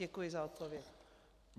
Děkuji za odpověď.